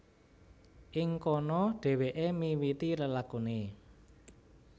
Ing kono dhèwèké miwiti lelakuné